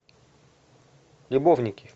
любовники